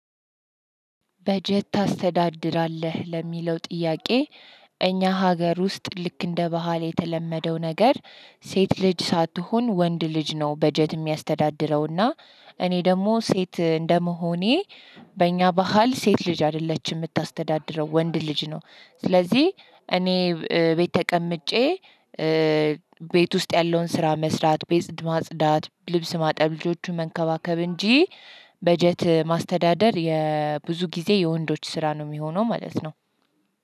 በጀት ታስተዳድራለህ ለሚለው ጥያቄ? እኛ ሀገር ውስጥ ልክ እንደ ባህል የተለመደው ነገር ሴት ልጅ ሳትሆን ወንድ ልጅ ነው። በጀት የሚያስተዳድረውና እኔ ደግሞ ሴት እንደመሆኔ በእኛ ባህል ሴት ልጅ አይደለችም የምታስተዳድረው ወንድ ልጅ ነው። ስለዚህ እኔ ቤት ተቀምጬ ቤት ውስጥ ያለውን ስራ መስራት ቤት ማጽዳት ልብስ ማጠብ ልጆቹን መንከባከብ እንጂ። በጀት ማስተዳደር የብዙ ጊዜ የወንዶች ስራ ነው የሚሆነው ማለት ነው።